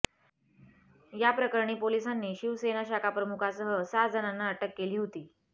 याप्रकरणी पोलिसांनी शिवसेना शाखाप्रमुखासह सहा जणांना अटक केली होती